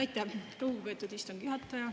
Aitäh, lugupeetud istungi juhataja!